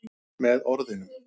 Með orðinu